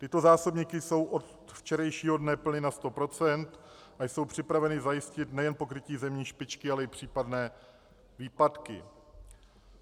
Tyto zásobníky jsou od včerejšího dne plněny na 100 % a jsou připraveny zajistit nejen pokrytí zimní špičky, ale i případné výpadky.